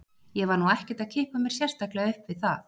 Ég var nú ekkert að kippa mér sérstaklega upp við það.